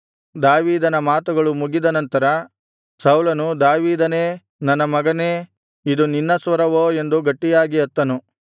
ದಾವೀದನ ಮಾತುಗಳು ಮುಗಿದ ನಂತರ ಸೌಲನು ದಾವೀದನೇ ನನ್ನ ಮಗನೇ ಇದು ನಿನ್ನ ಸ್ವರವೋ ಅಂದು ಗಟ್ಟಿಯಾಗಿ ಅತ್ತನು